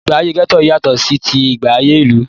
Ìgbé ayé gẹ́tò yátọ̀ sí tí agbègbè ìlú.